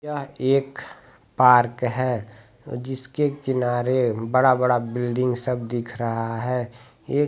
यह एक पार्क है जिसके किनारे बड़ा-बड़ा बिल्डिंग सब दिख रहा है| ये --